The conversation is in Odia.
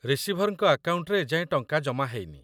ରିସିଭର୍‌ଙ୍କ ଆକାଉଣ୍ଟରେ ଏଯାଏଁ ଟଙ୍କା ଜମା ହେଇନି ।